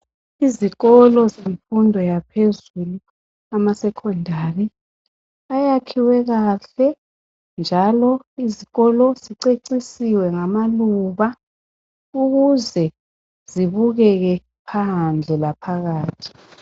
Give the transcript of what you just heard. Izikolo zemfundo yaphezulu esecondary ayakhiwe kahle njalo izikolo zicecisiwe ngamaluba ukuze zibukeke phandle laphakathi.